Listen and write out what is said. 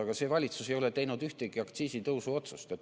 Aga praegune valitsus ei ole teinud ühtegi aktsiisitõusu otsust.